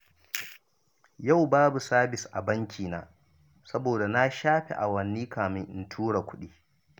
Yau babu sabis a bankina, saboda na shafe awanni kafin na tura kuɗi